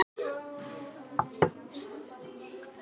Hann skyldi sko venja hann vel.